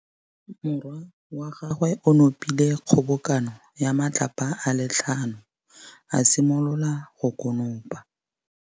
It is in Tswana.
Morwa wa gagwe o nopile kgobokanô ya matlapa a le tlhano, a simolola go konopa.